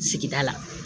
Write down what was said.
Sigida la